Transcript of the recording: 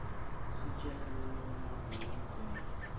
istjela nanqemlanbuo wanbela